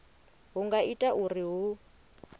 hu nga ita uri hu